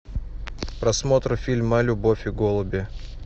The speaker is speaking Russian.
просмотр фильма любовь и голуби